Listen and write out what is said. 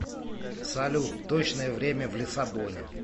салют точное время в лиссабоне